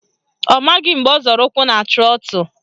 Ọ maghị mgbe ọ zọrọ ụkwụ na trọtụ